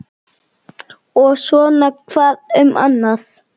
Og svona hvað um annað